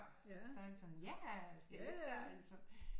Så er det sådan ja skal vi ikke